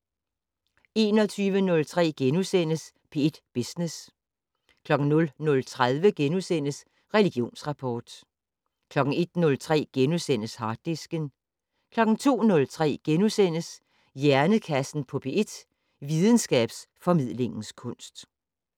21:03: P1 Business * 00:30: Religionsrapport * 01:03: Harddisken * 02:03: Hjernekassen på P1: Videnskabsformidlingens kunst *